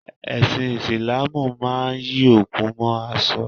Ẹsin Isilaamu máa ń yí òkú mó aṣọ.